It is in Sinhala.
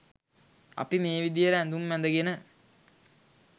අපි මේ විදිහට ඇඳුම් ඇඳගෙන